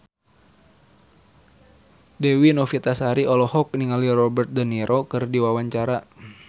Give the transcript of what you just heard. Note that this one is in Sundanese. Dewi Novitasari olohok ningali Robert de Niro keur diwawancara